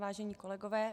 Vážení kolegové.